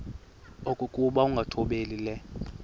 okokuba ukungathobeli le